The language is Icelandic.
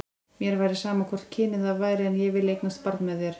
Mér væri sama hvort kynið það væri, en ég vil eignast barn með þér.